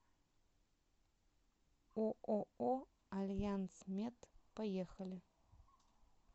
ооо альянсмед поехали